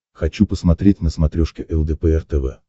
хочу посмотреть на смотрешке лдпр тв